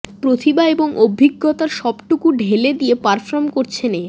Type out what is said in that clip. প্রতিভা এবং অভিজ্ঞতার সবটুকু ঢেলে দিয়ে পারফর্ম করছেন এ